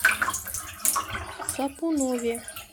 сапунове